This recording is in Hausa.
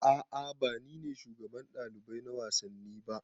A'a ba ni ne shugaban ɗalibai na wasanni ba